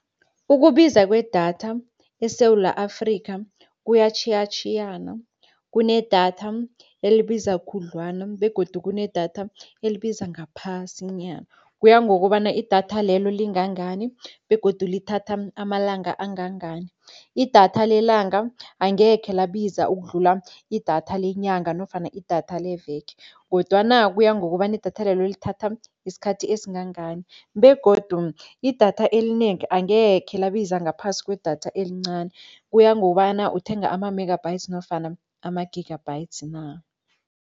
Ukubiza kwedatha eSewula Afrika kuyatjhiyatjhiyana, kunedatha elibiza khudlwana begodu kunedatha elibiza ngaphasinyana. Kuya ngokobana idatha lelo lingangani begodu lithatha amalanga angangani. Idatha lelanga angekhe labiza ukudlula idatha lenyanga nofana idatha leveke. Kodwana kuya ngokobana idatha lelo lithatha isikhathi esingangani begodu idatha elinengi angekhe labiza ngaphasi kwedatha elincani. Kuya ngokobana uthenga ama-megabytes nofana ama-gigabytes na.